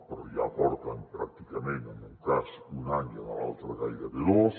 però ja porten pràcticament en un cas un any i en l’altre gairebé dos